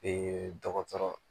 dɔgɔtɔrɔ